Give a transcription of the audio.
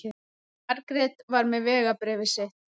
Margrét var með vegabréfið sitt.